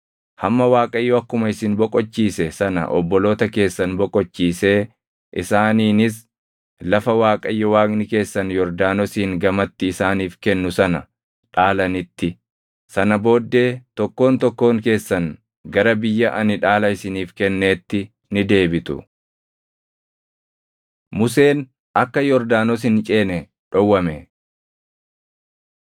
Kunis hamma Waaqayyo akkuma isin boqochiise sana obboloota keessan boqochiisee isaaniinis lafa Waaqayyo Waaqni keessan Yordaanosiin gamatti isaaniif kennu sana dhaalanitti. Sana booddee tokkoon tokkoon keessan gara biyya ani dhaala isiniif kenneetti ni deebitu.” Museen Akka Yordaanos Hin Ceene Dhowwame